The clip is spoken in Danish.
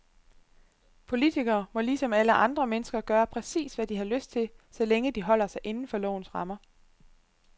Politikere må ligesom alle andre mennesker gøre præcis, hvad de har lyst til, så længe de holder sig inden for lovens rammer.